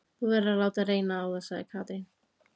Þú verður að láta reyna á það, sagði Katrín.